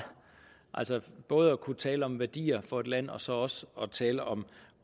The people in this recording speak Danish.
altså både at kunne tale om værdier for et land og så også tale om